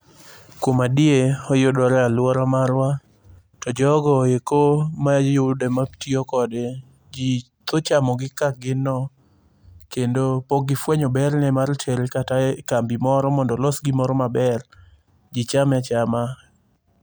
Kuom adier, oyudore e aluora marwa, to jogo eko mayude matiyo kode , ji tho chamogi kaka gin no, kendo pok gifuenyo berne mar tere kata ekambi moro mondo olos gimoro maber. Ji chame achama.